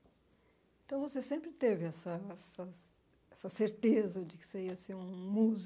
Então, você sempre teve essa essa essa certeza de que você ia ser um músico?